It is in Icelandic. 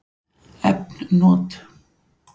Efn not